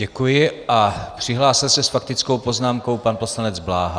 Děkuji a přihlásil se s faktickou poznámkou pan poslanec Bláha.